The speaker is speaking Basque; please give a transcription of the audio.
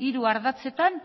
hiru ardatzetan